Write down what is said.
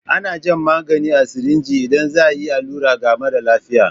Ana jan magani a sirinji idan za a yi allura ga mara lafiya.